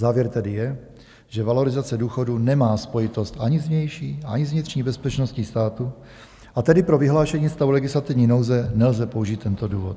Závěr tedy je, že valorizace důchodů nemá spojitost ani s vnější, ani s vnitřní bezpečnosti státu, a tedy pro vyhlášení stavu legislativní nouze nelze použít tento důvod.